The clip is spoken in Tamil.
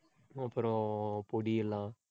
அப்புறம் பொடி எல்லாம்.